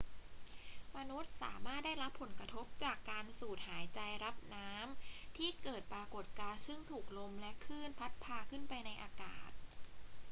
มนุษย์สามารถได้รับผลกระทบจากการสูดหายใจรับน้ำที่เกิดปรากฏการณ์ซึ่งถูกลมและคลื่นพัดพาขึ้นไปในอากาศ